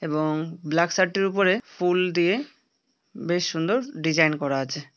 এবং black shirt এর উপরে ফুল দিয়ে বেশ সুন্দর ডিজাইন করা আছে।